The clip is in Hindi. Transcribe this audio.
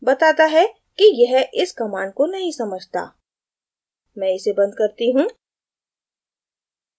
बताता है कि यह इस command को नहीं समझता मैं इसे बंद करती हूँ